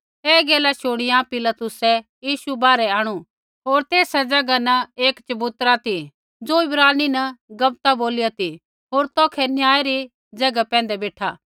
ऐ गैला शूणीया पिलातुसै यीशु बाहरै आंणु होर तेस ज़ैगा न एक चबूतरा ती ज़ो इब्रानी न गब्बता बोलिया ती होर तौखै न्याय री ज़ैगा पैंधै बेठा